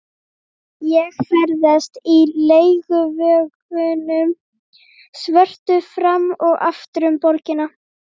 Ég ferðast í leiguvögnunum svörtu fram og aftur um borgina.